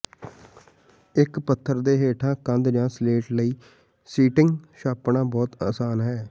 ਇੱਕ ਪੱਥਰ ਦੇ ਹੇਠਾਂ ਕੰਧ ਜਾਂ ਸਲੇਟ ਲਈ ਸ਼ੀਟੰਗ ਛਾਪਣਾ ਬਹੁਤ ਅਸਾਨ ਹੈ